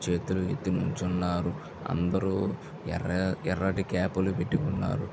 చేతులు ఎత్తి నించున్నారు. అందరూ ఎర్ర ఎర్రటి క్యాప లు పెట్టుకున్నారు.